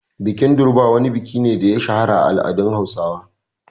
Bikin Durbar wani biki ne da ya shahara a al’adun Hausawa.